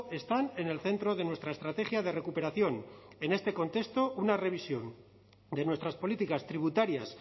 están en el centro de nuestra estrategia de recuperación en este contexto una revisión de nuestras políticas tributarias